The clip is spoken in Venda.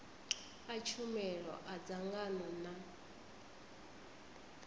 a tshumelo a dzangano na